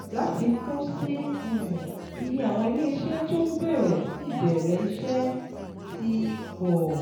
Láfikún sí um i, iye àwọn ilé iṣẹ́ tó ń bẹ̀rẹ̀ sí í bẹ̀rẹ̀ iṣẹ́ ti pọ̀